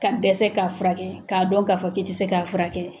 Ka dɛsɛ k'a furakɛ k'a dɔn k'a fɔ ke ti se k'a furakɛ